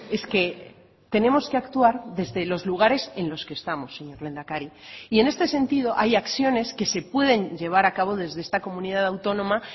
es que tenemos que actuar desde los lugares en los que estamos señor lehendakari y en este sentido hay acciones que se pueden llevar a cabo desde esta comunidad autónoma